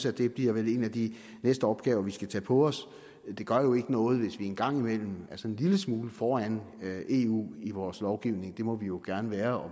at det vil blive en af de næste opgaver vi skal tage på os det gør jo ikke noget hvis vi engang imellem er sådan en lille smule foran eu i vores lovgivning det må vi jo gerne være